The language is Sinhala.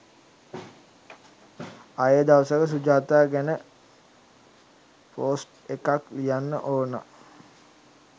ආයේ දවසක සුජාතා ගැන පෝස්ට් එකක් ලියන්න ඕන